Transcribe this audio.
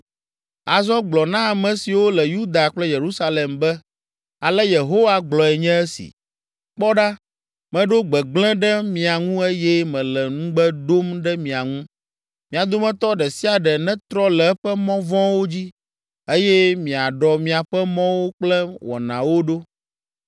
“Azɔ gblɔ na ame siwo le Yuda kple Yerusalem be, ‘Ale Yehowa gblɔe nye esi: Kpɔ ɖa, meɖo gbegblẽ ɖe mia ŋu eye mele nugbe ɖom ɖe mia ŋu. Mia dometɔ ɖe sia ɖe netrɔ le eƒe mɔ vɔ̃wo dzi eye miaɖɔ miaƒe mɔwo kple wɔnawo ɖo.’